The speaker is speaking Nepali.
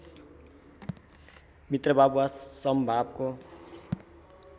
मित्रभाव वा समभावको